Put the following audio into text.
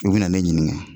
U bɛ na ne ɲininka